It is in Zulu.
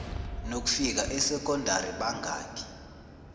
nokufika esekondari bangakhi